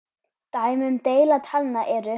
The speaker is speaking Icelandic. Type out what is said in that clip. Dæmi um deila talna eru